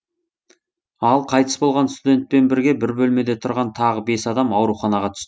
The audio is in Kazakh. ал қайтыс болған студентпен бірге бір бөлмеде тұрған тағы бес адам ауруханаға түс